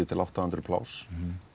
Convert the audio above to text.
til átta hundruð pláss